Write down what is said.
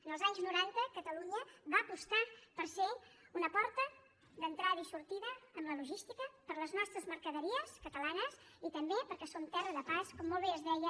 en els anys noranta catalunya va apostar per ser una porta d’entrada i sortida amb la logística per a les nostres mercaderies catalanes i també perquè som terra de pas com molt bé es deia